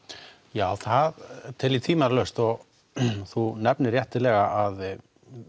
já það tel ég tvímælalaust og þú nefnir réttilega að